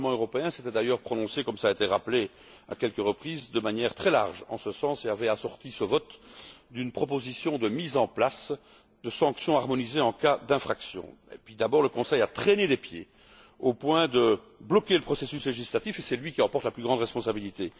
Le Parlement européen s'était d'ailleurs prononcé comme cela a été rappelé, à quelques reprises de manière très large, en ce sens, et avait assorti son vote d'une proposition visant à la mise en place de sanctions harmonisées en cas d'infractions. Tout d'abord, le Conseil a traîné les pieds, au point de bloquer le processus législatif, et c'est lui qui en porte la plus grande responsabilité.